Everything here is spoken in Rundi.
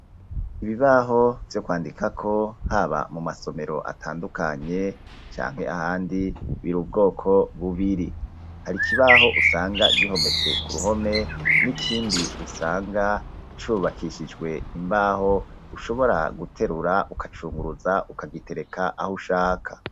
Ibibaho vyo kwandikako, haba mu masomero atandukanye, canke ahandi, biri ubwoko bubiri; hari ikibaho usanga gihometse ku ruhome, n'ikindi usanga cubakishijwe imbaho, ushobora guterura, ukacunguruza, ukagitereka aho ushaka.